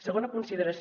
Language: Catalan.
segona consideració